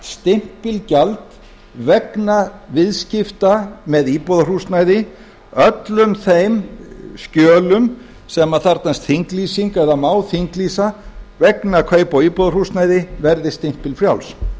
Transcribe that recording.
stimpilgjald vegna viðskipta með íbúðarhúsnæði öllum þeim skjölum sem þarfnast þinglýsingar eða má þinglýsa vegna kaupa á íbúðarhúsnæði verði stimpilfrjáls